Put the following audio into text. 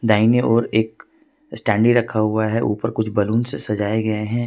दाईने ओर एक स्टैंडी रखा हुआ ऊपर कुछ बलून से सजाए गए हैं।